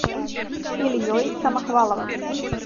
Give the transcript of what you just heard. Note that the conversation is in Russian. ильей самохваловым